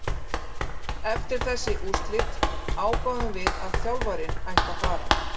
Eftir þessi úrslit ákváðum við að þjálfarinn ætti að fara,